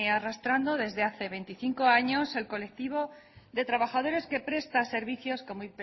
arrastrando desde hace veinticinco años el colectivo de trabajadores que presta servicios como